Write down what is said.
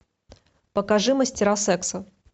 покажи мастера секса